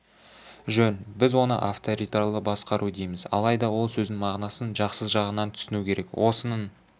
жөн біз оны авторитарлы басқару дейміз алайда ол сөздің мағынасын жақсы жағынан түсіну керек осының